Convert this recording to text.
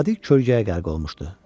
Vadi kölgəyə qərq olmuşdu.